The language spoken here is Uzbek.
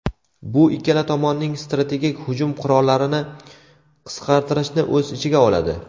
Bu ikkala tomonning strategik hujum qurollarini qisqartirishni o‘z ichiga oladi.